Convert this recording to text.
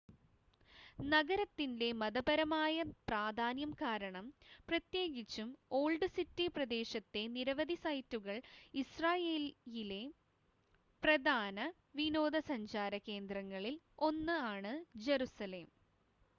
നഗരത്തിൻ്റെ മതപരമായ പ്രാധാന്യം കാരണം പ്രത്യേകിച്ചും ഓൾഡ് സിറ്റി പ്രദേശത്തെ നിരവധി സൈറ്റുകൾ ഇസ്രായേലിലെ പ്രധാന വിനോദസഞ്ചാര കേന്ദ്രങ്ങളിൽ 1 ആണ് ജറുസലേം